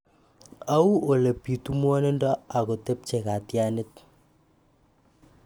Au ole pitu mwanindo ako tepche kotyanit.